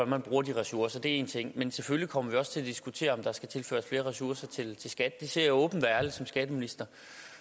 man bruger de ressourcer det er én ting men selvfølgelig kommer vi også til at diskutere om der skal tilføres flere ressourcer til til skat det siger jeg åbent og ærligt som skatteminister